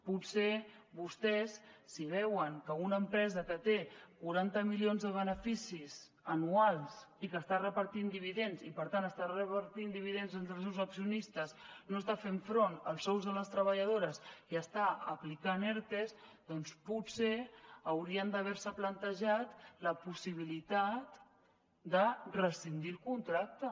potser vostès si veuen que una empresa que té quaranta milions de beneficis anuals i que està repartint dividends i per tant està repartint dividends entre els seus accionistes no està fent front als sous de les treballadores i està aplicant ertes doncs potser haurien d’haver se plantejat la possibilitat de rescindir el contracte